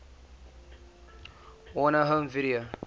warner home video